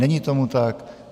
Není tomu tak.